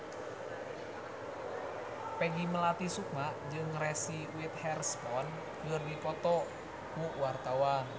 Peggy Melati Sukma jeung Reese Witherspoon keur dipoto ku wartawan